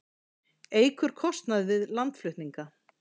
Eykur kostnað við landflutninga